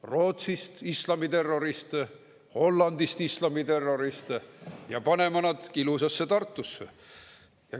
Rootsist islamiterroriste, Hollandist islamiterroriste ja paneme nad ilusasse Tartusse.